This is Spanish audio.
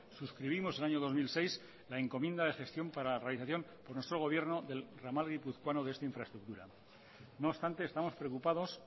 suscribimos en el año dos mil seis la encomienda de gestión para la realización de nuestro gobierno del entramado guipuzcoano de esta infraestructura no obstante estamos preocupados